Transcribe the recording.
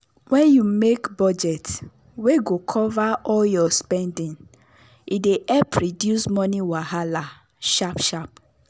wen you make budget wey go cover all your spending e dey help reduce money wahala sharp sharp.